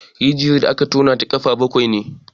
Rijiyar da aka tona na da gaba bakwai ne.